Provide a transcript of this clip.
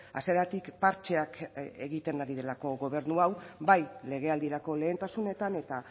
hasieratik partxeak egiten ari delako gobernu hau bai legealdirako lehentasunetan eta